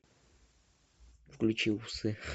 включи усы